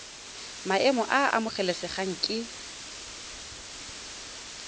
maemo a a amogelesegang ke